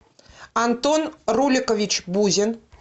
антон руликович бузин